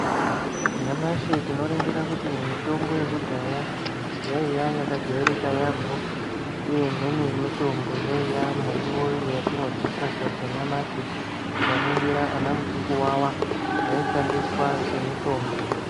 Nyamashi tinoringire kuti mitombo yekudhaya yaiya yakajairika yaamho, uye imweni mitombo yaiya miriwo yatinoryisa sadza nyamashi. Tikaningira ana muchukuwawa yaishandiswa semitombo.